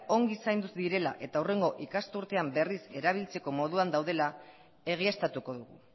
ongi zaindu direla eta hurrengo ikasturtean berriz erabiltzeko moduan daudela egiaztatuko dugu